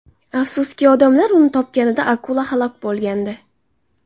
Afsuski, odamlar uni topganida akula halok bo‘lgandi.